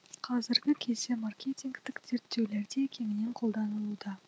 қазіргі кезде маркетингтік зерттеулерде кеңінен қолданылуда